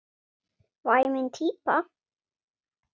Væmin típa.